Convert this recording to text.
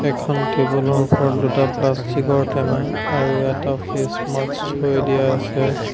এখন টেবুল ৰ ওপৰত দুটা প্লাষ্টিক ৰ টেমা আৰু এটা ফেচ মাস্ক থৈ দিয়া আছে।